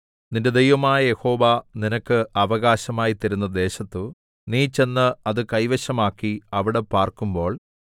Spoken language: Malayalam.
നിന്റെ ദൈവമായ യഹോവ നിനക്ക് അവകാശമായി തരുന്ന ദേശത്തു നീ ചെന്ന് അത് കൈവശമാക്കി അവിടെ പാർക്കുമ്പോൾ